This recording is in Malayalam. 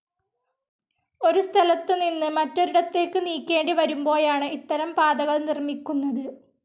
ഒരു സ്ഥലത്തുനിന്നു മറ്റൊരിടതേക്ക് നീക്കേണ്ടി വരുമ്പോഴാണു ഇത്തരം പാതകൾ നിർമിക്ക്ഉന്നത